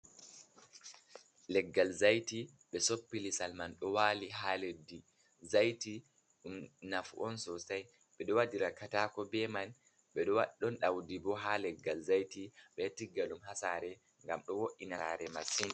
Leggal zaiti, ɓe soppi lisal man ɗo wali ha leddi. Zaiti dum nafu'on sosai, ɓeɗo waɗira katako ɓe man, ɓedo wada- ɗon daudi bo ha leggal zaiti. Ɓedo tigga dum hasare gam ɗo wo’ina sare masini.